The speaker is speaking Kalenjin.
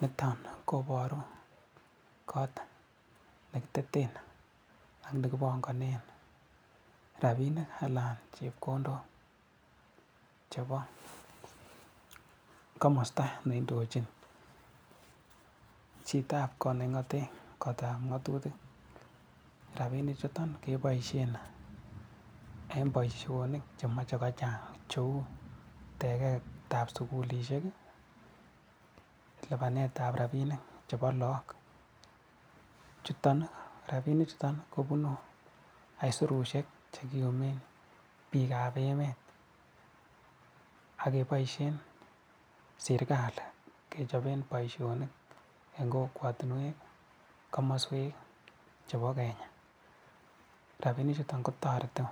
Niton ko kot nekiteten ake panganee rapinik anan chepkondok chebo komasta ne indochini chitoab kotab nekingaten ngatutik. Rapinichuto kepoishen eng boisionik chemache kochang cheu teketab sukulisiek, lipanetab rapinik chebo laok. Rapinichuto kobunu aisurushiek che kiumen biikab emet ake poishen sirikali kechopen boisionik eng kokwatinwek, komaswek chebo Kenya. Rapinichuto kotoreti